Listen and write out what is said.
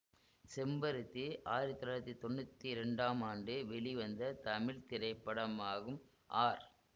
செம்பருத்தி ஆயிரத்தி தொள்ளாயிரத்தி தொன்னூத்தி இரண்டாம் ஆண்டு வெளிவந்த தமிழ் திரைப்படமாகும் ஆர்